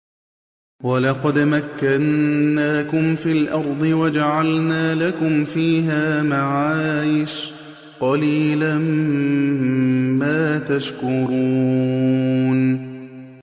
وَلَقَدْ مَكَّنَّاكُمْ فِي الْأَرْضِ وَجَعَلْنَا لَكُمْ فِيهَا مَعَايِشَ ۗ قَلِيلًا مَّا تَشْكُرُونَ